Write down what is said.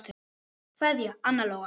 Kveðja, Anna Lóa.